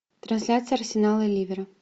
трансляция арсенала ливера